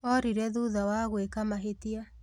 Orire thutha wa gwĩka mahĩtia